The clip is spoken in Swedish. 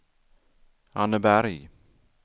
Anneberg